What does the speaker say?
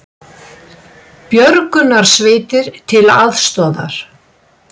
Björgunarsveitir til aðstoðar